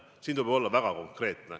Nende puhul tuleb olla väga konkreetne.